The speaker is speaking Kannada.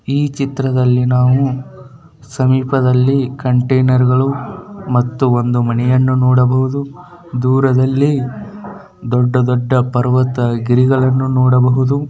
ಈ ಚಿತ್ರದಲ್ಲಿ ನಾವು ಸಮೀಪದಲ್ಲಿ ಕಂಟೈನರ್ಗಳು ಮತ್ತು ಒಂದು ಮನೆಯನ್ನು ನೋಡಬಹುದು ದೂರದಲ್ಲಿ ದೊಡ್ಡದೊಡ್ಡ ಪರ್ವತ ಗಿರಿಗಳನ್ನು ನೋಡಬಹುದು.